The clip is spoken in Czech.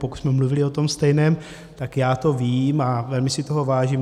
Pokud jsme mluvili o tom stejném, tak já to vím a velmi si toho vážím.